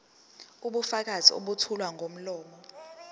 ubufakazi obethulwa ngomlomo